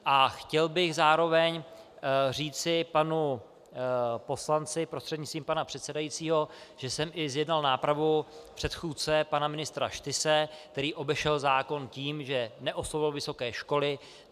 A chtěl bych zároveň říci panu poslanci prostřednictvím pana předsedajícího, že jsem i zjednal nápravu předchůdce pana ministra Štyse, který obešel zákon tím, že neoslovil vysoké školy.